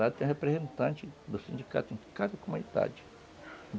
Lá tem representante do sindicato em cada comunidade.